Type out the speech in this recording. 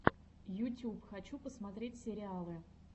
ютюб хочу посмотреть сериалы